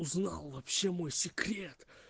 узнал вообще мой секрет